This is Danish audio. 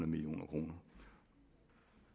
million kroner